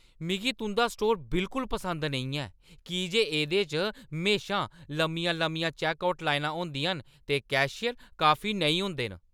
मिगी तुंʼदा स्टोर बिल्कुल पसंद नेईं ऐ की जे एह्दे च म्हेशां लम्मियां-लम्मियां चैक्कआउट लाइनां होंदियां न ते कैशियर काफी नेईं होंदे न।